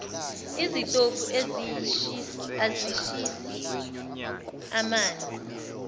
izitofu izishisisi manzi